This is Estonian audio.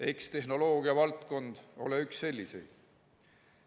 Eks tehnoloogiavaldkond ole üks selliseid.